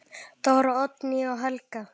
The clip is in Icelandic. Dóra, Oddný og Helga.